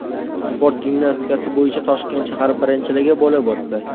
Sport gimnastikasi bo‘yicha Toshkent shahar birinchiligi bo‘lib o‘tdi.